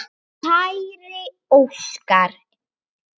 Kæri Óskar.